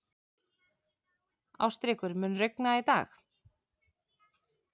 Ástríkur, mun rigna í dag?